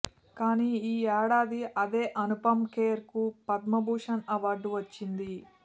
కానీ ఈ ఏడాది అదే అనుపమ్ ఖేర్ కు పద్మభూషణ్ అవార్డు వచ్చింది